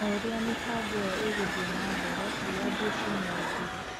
O ũrĩa mĩbango ĩyo ĩgũthiĩ na mbere, wĩyathi ũcio no ũthire.